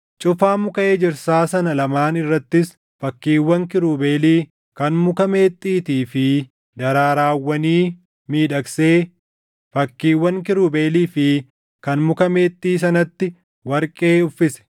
Cufaa muka ejersaa sana lamaan irrattis fakkiiwwan kiirubeelii, kan muka meexxiitii fi daraarawwanii miidhagsee fakkiiwwan kiirubeelii fi kan muka meexxii sanatti warqee uffise.